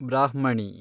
ಬ್ರಾಹ್ಮಣಿ